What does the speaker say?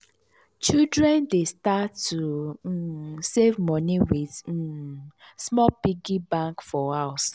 children dey start to um save moni with um small piggy bank for house.